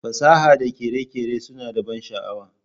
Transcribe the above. Fasaha da kere-kere suna da ban sha'awa